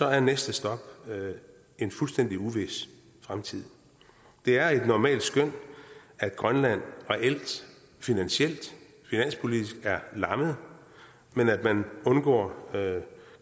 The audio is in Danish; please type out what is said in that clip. er næste stop en fuldstændig uvis fremtid det er et normalt skøn at grønland reelt finansielt finanspolitisk er lammet men at man undgår